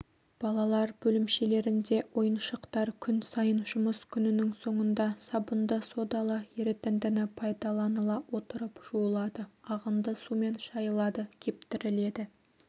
балалар бөлімшелерінде ойыншықтар күн сайын жұмыс күнінің соңында сабынды-содалы ерітіндіні пайдаланыла отырып жуылады ағынды сумен шайылады кептіріледі